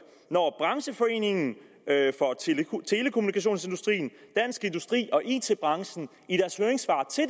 når brancheforeningen telekommunikationsindustrien dansk industri og it branchen i deres høringssvar til